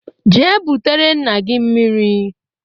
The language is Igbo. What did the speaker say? Jee butere nna gi mmiri!